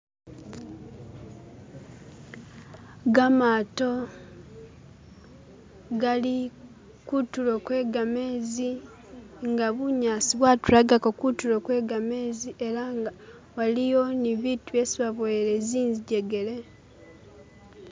Gamato gali kuntulo kwe gamezi nga bunyasi bwatulagako kuntulo kwe gamezi ela nga waliyo ni bibintu byesi baboyele zinjegele.